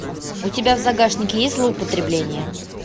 у тебя в загашнике есть злоупотребление